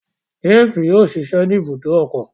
James yóò ṣiṣẹ ni ibùdó ọkọ